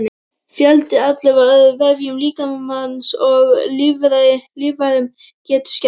Fjöldinn allur af öðrum vefjum líkamans og líffærum getur skemmst.